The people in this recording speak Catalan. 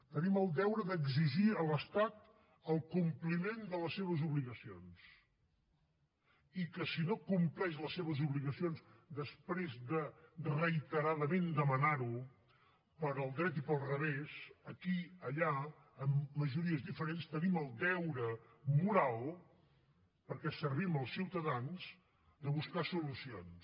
tenim el deure d’exigir a l’estat el compliment de les seves obligacions i que si no compleix les seves obligacions després de reiteradament demanar ho pel dret i pel revés aquí allà amb majories diferents tenim el deure moral perquè servim els ciutadans de buscar solucions